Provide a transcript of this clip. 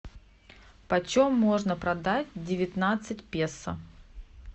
по чем можно продать девятнадцать песо